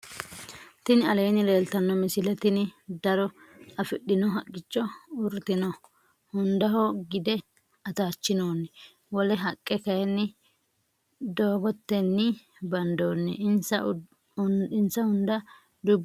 tinni aleni leltano misile .tinni daro afidhino haqicho uritinoo. hundaho gidde attachinonni. wolle haqe kayini dooqoteni bandonni. insa unda duubu battirino.